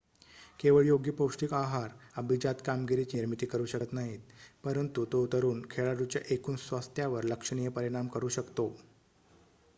केवळ योग्य पौष्टिक आहार अभिजात कामगिरीची निर्मिती करू शकत नाहीत परंतु तो तरुण खेळाडूच्या एकूण स्वास्थ्यावर लक्षणीय परिणाम करू शकतो